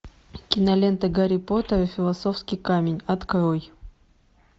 кинолента гарри поттер и философский камень открой